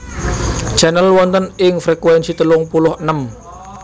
Channel wonten ing frekuensi telung puluh enem